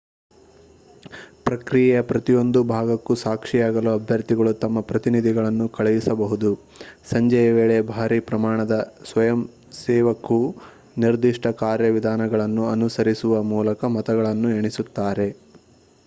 ಪ್ರಕ್ರಿಯೆಯ ಪ್ರತಿಯೊಂದು ಭಾಗಕ್ಕೂ ಸಾಕ್ಷಿಯಾಗಲು ಅಭ್ಯರ್ಥಿಗಳು ತಮ್ಮ ಪ್ರತಿನಿಧಿಗಳನ್ನು ಕಳುಹಿಸಬಹುದು ಸಂಜೆಯ ವೇಳೆ ಭಾರೀ ಪ್ರಮಾಣದ ಸ್ವಯಂಸೇವಕು ನಿರ್ದಿಷ್ಟ ಕಾರ್ಯವಿಧಾನಗಳನ್ನು ಅನುಸರಿಸುವ ಮೂಲಕ ಮತಗಳನ್ನು ಎಣಿಸುತ್ತಾರೆ